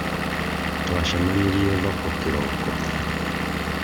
twacemanirie thoko kĩroko